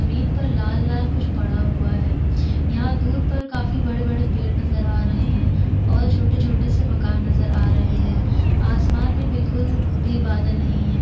जमीन पर लाल -लाल कुछ पड़ा हुआ है यह दूर पर काफी बड़े - बड़े पेड़ नज़र आ रहे है और छोटे - छोटे से मकान नज़र आ रहे है आसमान में बिल्कुल भी बादल नहीं है।